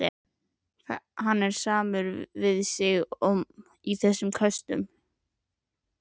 Hann er samur við sig í þessum köstum!